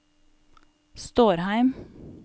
Stårheim